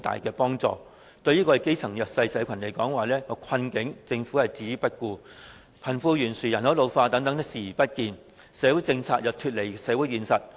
它對基層和弱勢社群的困境置之不顧，對貧富懸殊、人口老化等問題視而不見，社會政策脫離社會現實。